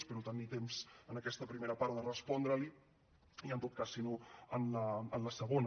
espero tenir temps en aquesta primera part de respondre li i en tot cas si no en la segona